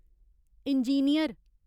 engineer